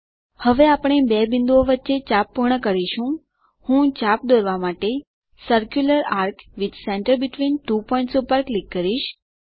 હવે આપણે આ બે બિંદુઓ વચ્ચે ચાપ પૂર્ણ કરીશું હું ચાપ દોરવા માટે centre between two points with circular A R C પર ક્લિક કરીશ